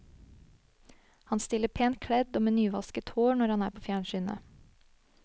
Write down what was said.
Han stiller pent kledd og med nyvasket hår når han er på fjernsynet.